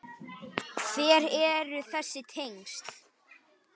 Hver eru þessi tengsl?